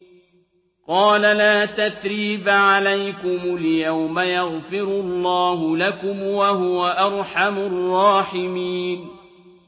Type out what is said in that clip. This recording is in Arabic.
قَالَ لَا تَثْرِيبَ عَلَيْكُمُ الْيَوْمَ ۖ يَغْفِرُ اللَّهُ لَكُمْ ۖ وَهُوَ أَرْحَمُ الرَّاحِمِينَ